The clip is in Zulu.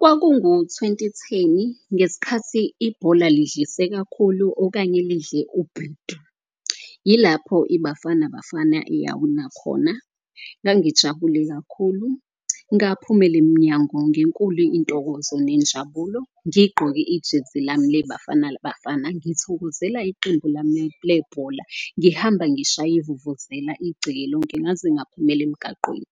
Kwakungu-twenty theni ngeskhathi ibhola lidlise kakhulu okanye lidle ubhedu, yilapho iBafana Bafana eyawina khona. Ngangijabule kakhulu ngaphumela emnyango ngenkulu intokozo nenjabulo ngigqoke ijezi lami leBafana Bafana ngiyithokozela iqembu lami lebhola. Ngihamba ngishaya ivuvuzela igceke lonke ngaze ngaphumela emgaqweni.